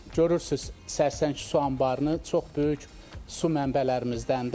Görürsüz Sərsəng su anbarı çox böyük su mənbələrimizdəndir.